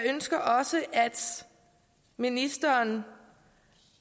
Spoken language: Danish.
ønsker også at ministeren